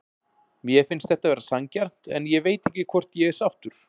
Mér finnst þetta vera sanngjarnt en ég veit ekki hvort ég er sáttur.